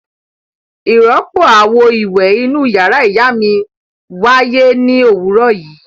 Ìrọ́pò àwo-ìwẹ̀ inú ìyàrá ìyá mi wáyé ní òwúrọ̀ yìí.